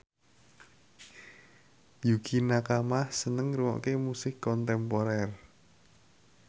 Yukie Nakama seneng ngrungokne musik kontemporer